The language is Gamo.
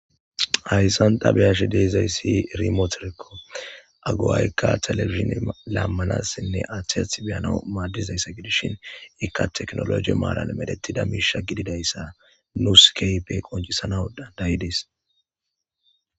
hayssan dabeyash deezayssi rimoteriko aguwayka telebishin lammanassinne aheyath beyana maaddizayssa gidishin ika teknologi maalan medettida miisha gididayssa nuuskeype qoncisana dayidis